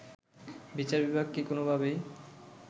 বিচার বিভাগকে কোনোভাবেই